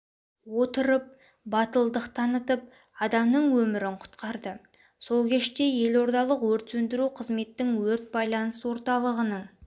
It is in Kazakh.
отырып батылдық танытып адамның өмірін құтқарды сол кеште елордалық өрт сөндіру қызметтің өрт байланыс орталығының